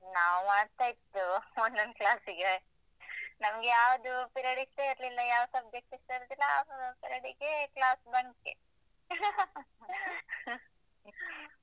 ನಾವ್ ಮಾಡ್ತಾ ಇರ್ತೆವು, ಒಂದೊಂದ್ class ಗೆ, ನಮ್ಗೆ ಯಾವ್ದು period ಇಸ್ಟ ಇರ್ಲಿಲ್ಲ ಯಾವ subject ಇಸ್ಟ ಇರುದಿಲ್ಲ, ಆ period ಗೆ class bunk ಏ.